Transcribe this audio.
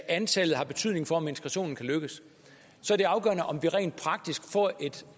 antallet har betydning for om integrationen kan lykkes så er det afgørende om vi rent praktisk får et